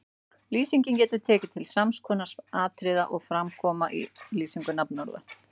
Lýsingin getur tekið til sams konar atriða og fram koma í lýsingu nafnorða